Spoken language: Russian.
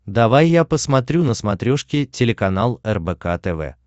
давай я посмотрю на смотрешке телеканал рбк тв